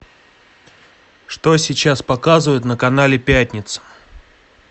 что сейчас показывают на канале пятница